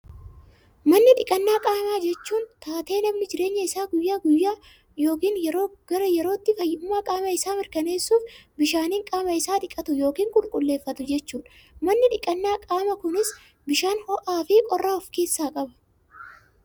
Manni dhiqannaa qaamaa jechuun, taatee namni jireenya isaa guyyaa guyyaa yookaan yeroo gara yerootti, fayyummaa qaama isaa mirkaneessuuf, bishaaniin qaama isaa dhiqatu yookaan qulqulleeffatu jechuudha. Manni dhiqannaa qaamaa kunis bishaan ho'aa fi qorraa of keessaa qaba.